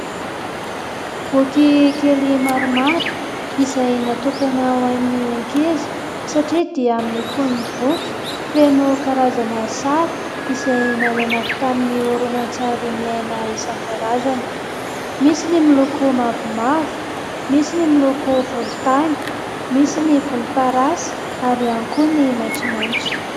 Boky kely maromaro, izay natokana ho an'ny ankizy satria : dia amin'ny fonon'ny boky feno karazana sary, izay nalaina avy tamin'ny horonan-tsary miaina isan-karazany, misy ny miloko mavomavo, misy ny miloko volontany, misy ny volomparasy ary ihany koa ny maitsomaitso.